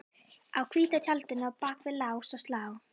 Á hvíta tjaldinu og bak við lás og slá